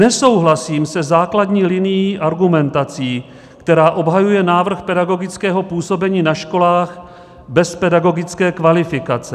Nesouhlasím se základní linií argumentací, která obhajuje návrh pedagogického působení na školách bez pedagogické kvalifikace.